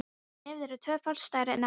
Nefið er tvöfalt stærra en áður.